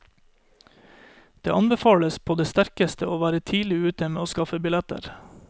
Det anbefales på det sterkeste å være tidlig ute med å skaffe billetter.